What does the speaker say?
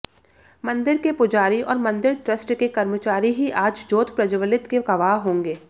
मंदिर के पुजारी और मंदिर ट्रस्ट के कर्मचारी ही आज जोत प्रज्जवलित के गवाह होंगे